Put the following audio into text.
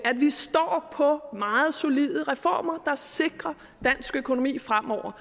vi står på meget solide reformer der sikrer dansk økonomi fremover